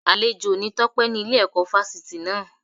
Àlejò ni Tọ́pé ní Ile ẹ̀kọ́ Fásitì náà